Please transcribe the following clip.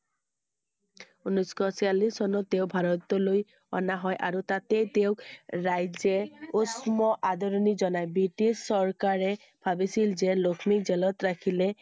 ঊনৈছ শ ছয়চল্লিছ চনত তেওঁ ভাৰতলৈ অনা হয় আৰু তাতে তেওঁক ৰাইজে উষ্ম আদৰণি জনায়। ব্ৰিটিছ চৰকাৰে ভাবিছিল যে লক্ষ্মী jail ত ৰাখিলে